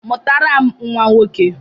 Mụtara m nwa nwoke!